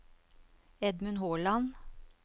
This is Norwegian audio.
Edmund Håland